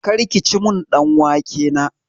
Kar kici min ɗan wake na!